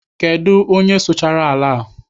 Kedụ onye sụchara ala a?